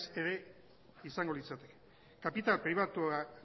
ez ere izango litzateke kapital